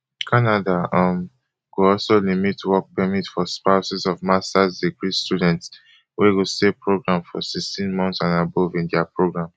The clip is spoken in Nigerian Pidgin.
canada um go also limit work permit for spouses of masters degree students wey go stay program forsixteen months and above in dia program